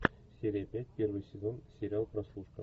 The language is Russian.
серия пять первый сезон сериал прослушка